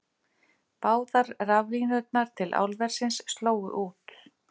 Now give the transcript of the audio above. Báðar raflínurnar til álversins slógu út